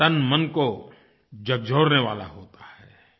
तनमन को झकझोरने वाला होता है